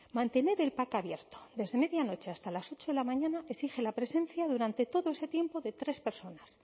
mantener el pac abierto desde medianoche hasta las ocho de la mañana exige la presencia durante todo ese tiempo de tres personas